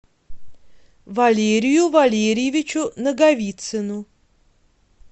валерию валерьевичу наговицыну